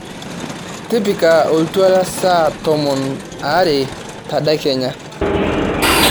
tipika oltuala saa tomon aare tedekenya